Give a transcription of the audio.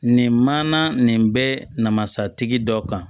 Nin mana nin bɛ namasatigi dɔ kan